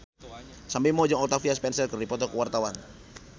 Sam Bimbo jeung Octavia Spencer keur dipoto ku wartawan